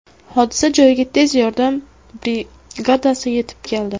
Hodisa joyiga tez yordam brigadasi yetib keldi.